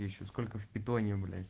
ещё сколько в питоне блять